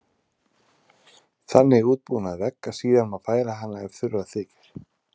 Þannig útbúin á vegg að síðar má færa hana ef þurfa þykir.